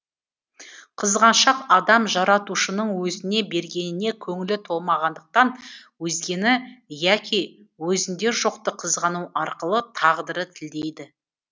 қызғаншақ адам жаратушының өзіне бергеніне көңілі толмағандықтан өзгені яки өзінде жоқты қызғану арқылы тағдырды тілдейді